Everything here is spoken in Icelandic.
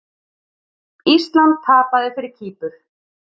Ísland tapaði fyrir Kýpur